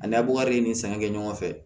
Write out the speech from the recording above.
Ani buwakari ni sanga kɛ ɲɔgɔn fɛ